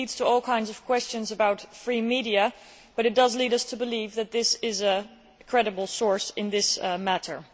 This leads to all kinds of questions about free media, but it does lead us to believe that this is a credible source in this matter.